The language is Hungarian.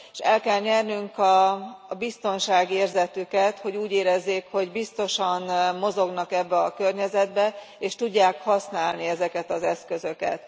És el kell nyernünk a biztonságérzetüket, hogy úgy érezzék, hogy biztosan mozognak ebben a környezetben és tudják használni ezeket az eszközöket.